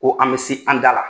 Ko an be se an da la.